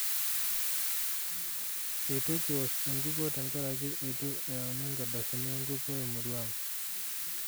Eitu kiwosh enkukuo tenkaraki eitu eyauini nkardasini enkukuo emurua ang'.